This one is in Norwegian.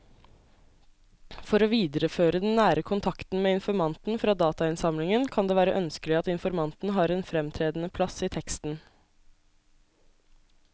For å videreføre den nære kontakten med informanten fra datainnsamlingen kan det være ønskelig at informanten har en fremtredende plass i teksten.